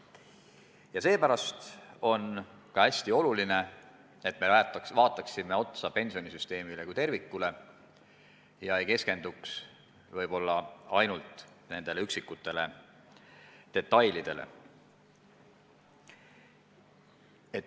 Ja seepärast on hästi oluline, et me vaataksime otsa pensionisüsteemile kui tervikule ega keskenduks ainult üksikutele detailidele.